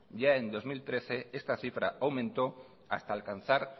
ya en dos mil trece esta cifra aumentó hasta alcanzar